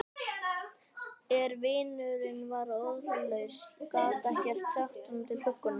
En vinurinn var orðlaus, gat ekkert sagt honum til huggunar.